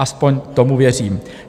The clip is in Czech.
Aspoň tomu věřím.